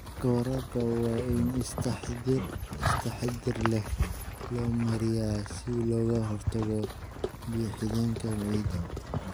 Hababka waraabka waa in si taxadir leh loo maareeyaa si looga hortago biyo-xidheenka ciidda.